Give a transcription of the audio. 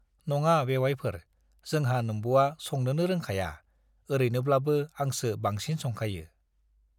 नङा बेउवाइफोर, जोंहा नोम्ब'आ संनोनो रोंखाया, ओरैनोब्लाबो आंसो बांसिन संखायो।